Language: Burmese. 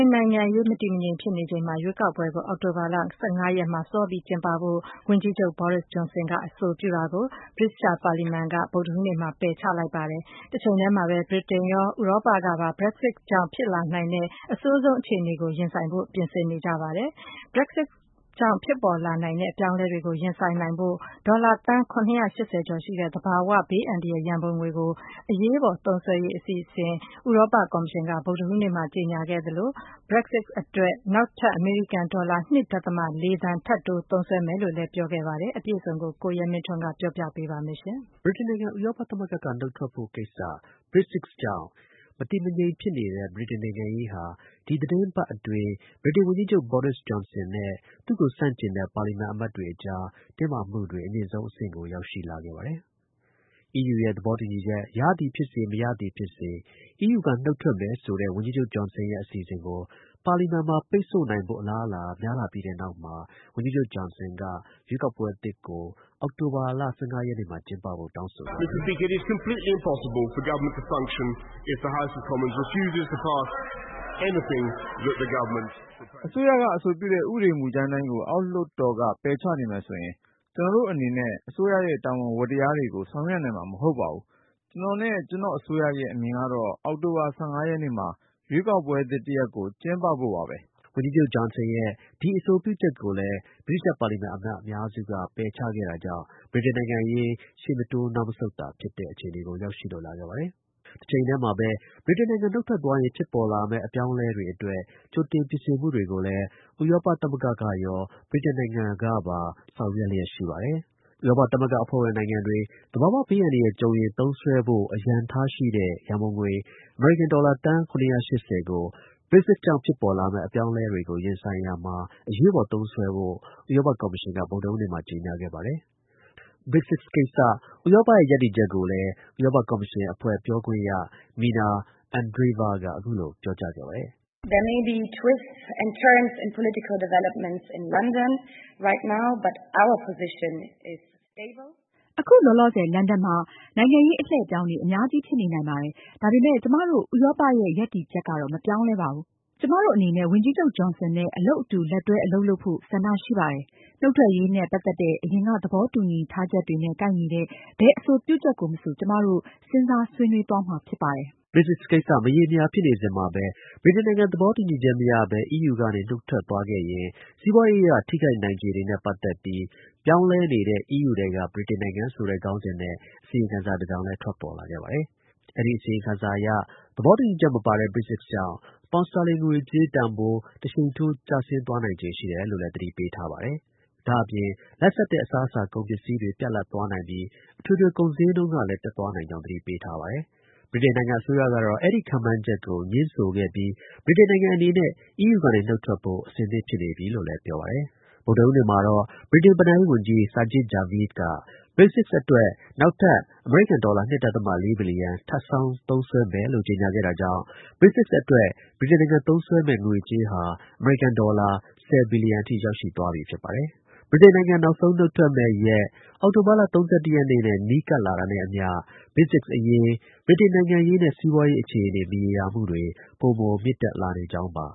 န်နိုင်ငံရေး မတည်မငြိမ် ဖြစ်နေချိန်မှာပဲ အချိန် စောပြီး ကျင်းပမယ့် ရွေးကောက်ပွဲကို အောက်တို ဘာလ ၁၅ ရက်နေ့မှာ ကျင်းပဖို့ ဗြိတိန် ဝန်ကြီးချုပ် Boris Johnson က အဆိုပြုတာကို ဗြိတိသျှ ပါလီမန်က ဗုဒ္ဓဟူးနေ့မှာ ပယ်ချခဲ့ပါတယ်။ တစ်ချိန်တည်းမှာပဲ ဗြိတိန်နိုင်ငံကရော ဥရောပ နှစ်ဘက်စလုံးကလည်း Brexit ကြောင့် ဖြစ်လာနိုင်တဲ့ အဆိုးဆုံး အခြေအနေကို ရင်ဆိုင်ဖို့ ပြင်ဆင်နေပါတယ်။ ဗုဒ္ဓဟူးနေ့မှာတော့ Brexit ကြောင့် ပေါ်ပေါက်လာနိုင်တဲ့ အပြောင်းအလဲ တွေကိုရင်ဆိုင်နိုင်ဖို့ ဒေါ်လာ သန်း ၇၈၀ ကျော် ရှိတဲ့ သဘော၀ ဘေးအန္တရာယ် ရန်ပုံငွေကို အရေးပေါ် သုံးစွဲဖို့ အစီအစဉ်ကို ဥရောပ ကော်မရှင်က ကြေညာခဲ့သလို Brexit အတွက် နောက်ထပ် အမေရိကန် ဒေါ်လာ ၂ ဒသမ ၄ သန်း ထပ်တိုး သုံးစွဲဖို့ ပြောမယ်လို့ ကြေညာခဲ့ပါတယ်။ အပြည့်အစုံကို ကိုရဲမင်းထွန်းက တင်ပြပေးပါမယ်။ ဗြိတိန်နိုင်ငံ ဥရောပ သမဂ္ဂက ထွက်ဖို့ကိစ္စ Brexit ကြောင့် မတည်မငြိမ် ဖြစ်နေခဲ့တဲ့ ဗြိတိန်နိုင်ငံရေးဟာ ဒီ သီတင်းပတ်အတွင်း ဗြိတိန် ဝန်ကြီးချုပ် Boris Johnson နဲ့ သူ့ကို ဆန့်ကျင်တဲ့ ပါလီမန် အမတ်တွေအကြား တင်းမာမှု အမြင့်ဆုံး အဆင့်ကို ရောက်ရှိလာခဲ့ပါတယ်။ EU နဲ့ သဘောတူညီချက် ရသည်ဖြစ်စေ မရသည်ဖြစ်စေ EU က နုတ်ထွက်မယ်ဆိုတဲ့ ဝန်ကြီးချုပ် Johnson ရဲ့ အစီအစဉ်ကို ပါလီမန်မှာ ပိတ်ဆို့နိုင်ဖို့ အလားအလာ များလာပြီးတဲ့နောက်မှာ ဝန်ကြီးချုပ် Johnson က ရွေးကောက်ပွဲသစ်ကို အောက်တိုဘာလ ၁၅ ရက်နေ့မှာ ကျင်းပဖို့ တောင်းဆိုခဲ့ပါတယ်။ “ အစိုးရ က အဆိုပြုတဲ့ ဥပေဒ မူကြမ်းတိုင်းကို အောက်လွှတ်တော်က ပယ်ချနေမယ်ဆိုရင် ကျွန်တော့်အစိုးရအနေနဲ့ အစိုးရရဲ့ တာဝန် ဝတ္တရားတွေကို ဆောင်ရွက်နိုင်မှာ မဟုတ်ပါဘူး။ ကျွန်တော်နဲ့ ကျွန်တော့်အစိုးရရဲ့ အမြင်ကတော့ အောက်တိုဘာလ ၁၅ ရက်နေ့မှာ ရွေးကောက်ပွဲသစ်တစ်ရပ်ကို ကျင်းပဖို့ပါပဲ။ ” ဝန်ကြီးချုပ် Johson ရဲ့ ဒီ အဆိုပြုချက် ကိုလည်း ဗြိတိသျှ ပါလီမန်အမတ် အများစုက ပယ်ချခဲ့တာကြောင့် ဗြိတိန် နိုင်ငံရေး ရှေ့မတိုး နောက်မဆုတ် သာဖြစ်တဲ့ အခြေအနေကို ရောက်ရှိလာခဲ့ပါတယ်။ တစ်ချိန်တည်းမှာပဲ ဗြိတိန်နိုင်ငံ နုတ်ထွက်သွားရင် ဖြစ်ပေါ်လာမယ့် အပြောင်းအလဲတွေ အတွက် ကြိုတင် ပြင်ဆင်မှုတွေကို ဥရောပ သမဂ္ဂရော ဗြိတိန်နိုင်ငံပါ ဆောင်ရွက်နေပါတယ်။ ဥရောပ အဖွဲ့ဝင်နိုင်ငံတွေ သဘာ၀ ဘေးအန္တရာယ် ကြုံရင် သုံးစွဲဖို့ အရန်ထားရှိတဲ့ ရန်ပုံငွေ အမေရိကန် ဒေါ်လာ သန်း ၇၈၀ ကို Brexit ကြောင့် ဖြစ်ပေါ်လာမယ့် အပြောင်းအလဲတွေကို ရင်ဆိုင်ရာမှာ အရေးပေါ် သုံးစွဲဖို့ ဥရောပ ကော်မရှင်က ဗုဒ္ဓဟူးနေ့မှာ ကြေညာခဲ့ပါတယ်။ Brexit ကိစ္စ ဥရောပရဲ့ ရပ်တည်ချက်ကိုလည်း ဥရောပ ကော်မရှင်အဖွဲ့ ပြောခွင့်ရ Mina Andreeva က အခုလို ပြောကြားခဲ့ပါတယ်။ “ အခု လောလောဆယ် လန်ဒန်မှာ နိုင်ငံရေး အလှည့်အပြောင်းတွေ အများကြီး ဖြစ်နေနိုင်ပါတယ်။ ဒါပေမဲ့ ကျွန်မတို့ ဥရောပရဲ့ ရပ်တည်ချက် ကတော့ မပြောင်းလဲပါဘူး။ ကျွန်မတို့ အနေနဲ့ ဝန်ကြီးချုပ် Johnson နဲ့ အလုပ် အတူ လက်တွဲ အလုပ်လုပ်ဖို့ ဆန္ဒ ရှိပါတယ်။ နုတ်ထွက်ရေးနဲ့ ပတ်သက်တဲ့ အရင်က သဘောတူညီထားချက်တွေနဲ့ ကိုက်ညီတဲ့ ဘယ်အဆိုပြုချက်ကို မဆို ကျွန်မတို့ စဉ်းစား ဆွေးနွေး သွားမှာ ဖြစ်ပါတယ်။ ” Brexit ကိစ္စ မရေမရာ ဖြစ်နေစဉ်မှာပဲ ဗြိတိန်နိုင်ငံ သဘောတူညီချက် မရဘဲ EU ကနေ နုတ်ထွက်သွားရင် စီးပွားရေး အရ ထိခိုက်နိုင်ခြေတွေနဲ့ ပတ်သက်ပြီး ပြောင်းလဲနေတဲ့ EU ထဲက ဗြိတိန်နိုင်ငံဆိုတဲ ခေါင်းစဉ်နဲ့ အစီရင်ခံစာ တစ်စောင်လည်း ထွက်ပေါ်လာပါတယ်။ အဲဒီ အစီရင်ခံစာအရ သဘောတူညီချက် မပါတဲ့ Brexit ကြောင့် ပေါင်စတာလင် ငွေကြေး တန်ဖိုး တစ်ရှိန်ထိုး ကျဆင်းနိုင်ခြေ ရှိတယ်လို့ သတိပေးထားပါတယ်။ လတ်ဆတ်တဲ့ အစားအစား ကုန်ပစ္စည်းတွေ ပြတ်လပ် သွားနိုင်ပြီး အထွေထွေ ကုန်ဈေးနှုန်းတွေလည်း တက်သွားနိုင်ကြောင်းကိုလည်း သတိပေးထားပါတယ်။ ဗြိတိန်နိုင်ငံ အစိုးရကတော့ အဲဒီ ခန့်မှန်းချက်ကို ငြင်းဆိုခဲ့ပြီး ဗြိတိန်နိုင်ငံ အနေနဲ့ EU ကနေ နုတ်ထွက်ဖို့ အဆင်သင့် ဖြစ်နေပြီ လို့လည်း ပြောပါတယ်။ ဗုဒ္ဒဟူးနေ့မှာတော့ ဗြိတိန် ဘဏ္ဍာရေးဝန်ကြီး Sajid Javid က Brexit အတွက် နောက်ထပ် ဒေါ်လာ ၂ ဒသမ ၄ ဘီလီယံ ထပ်ဆောင်း သုံးစွဲမယ်လို့ ကြေညာခဲ့တာကြောင့် Brexit အတွက် ဗြိတိန်နိုင်ငံ သုံးစွဲမယ့် ငွေကြေးဟာ အမေရိကန် ဒေါ်လာ ၁၀ ဘီလီယံ အထိ ရောက်ရှိသွားပြီ ဖြစ်ပါ တယ်။ ဗြိတိန် နောက်ဆုံး နှုတ်ထွက်မယ့် ရက် အောက်တိုဘာလ ၃၁ ရက် နီးကပ်လာတာနဲ့ အမျှ Brexit အရေး ဗြိတိန် နိုင်ငံရေးနဲ့ စီးပွားရေး အခြေအနေ မရောမှုတွေ ပိုမို မြင့်တက်လာကြောင်းပါ